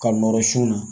Ka nɔrɔ sun na